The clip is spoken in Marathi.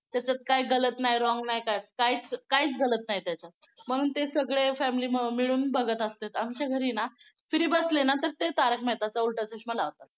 त्याच्यात काय गलत नाही wrong नाही काही काहीच काहीच गलत नाही त्याच्यात म्हणून ते सगळे family मिळून बघत असत्यात. आमच्या घरी ना free बसले ना तर ते तारक मेहताचा उलटा चष्मा लावतात.